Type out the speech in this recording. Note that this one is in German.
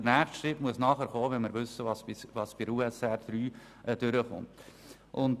Der nächste Schritt muss geschehen, wenn wir wissen, was bei der USR III durchkommt.